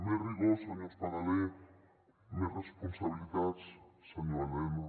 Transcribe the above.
més rigor senyor espadaler més responsabilitats senyor elena